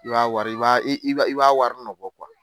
I b'a wari i b'a i b'a wari nɔ bɔ kuwa!